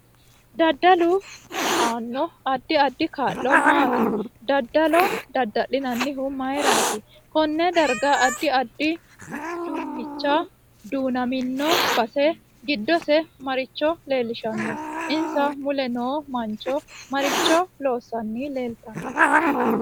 Dadalu aano addi addi kaa'lo maati dadalo dadalinanihu mayiirati konne darga addi addi duunichi duunamino base giddose maricho leelishanno insa mule noo mancho maricho loosani leeltanno